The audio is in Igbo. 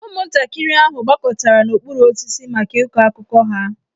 Ụmụntakịrị ahụ gbakọtara n'okpuru osisi maka ịkọ akụkọ ha.